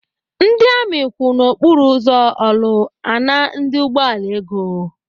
Ndị amị kwụ n'okporo ụzọ Orlu ana ndị ụgbọala ego.